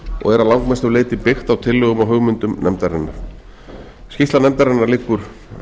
og er að langmestu leyti byggt á tillögum og hugmyndum nefndarinnar skýrsla nefndarinnar liggur